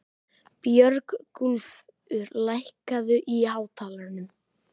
Björgúlfur, lækkaðu í hátalaranum.